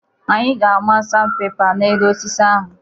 Anyị ga-amaa sanpepa n'elu osisi ahụ.